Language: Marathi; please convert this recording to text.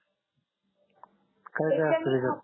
काय काय असत त्याच्या मध्ये त्याच्या णी हा